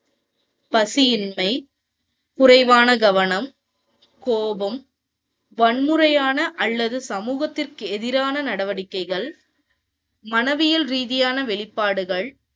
பசியின்மை, குறைவான கவனம், கோபம், வன்முறையான அல்லது சமூகத்திற்கு எதிரான நடவடிக்கைகள், மனவியல் ரீதியான வெளிப்பாடுகள்